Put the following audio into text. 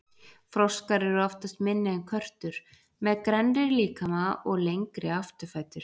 Froskar eru oftast minni en körtur, með grennri líkama og lengri afturfætur.